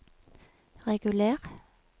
reguler